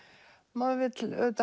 maður vill